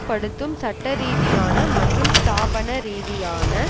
படுத்தும் சட்டரீதியான மற்றும் ஸ்தாபன ரீதியான